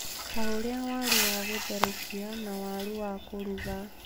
ta ũrĩa waru wa gũtherũkia na waru wa kũruga.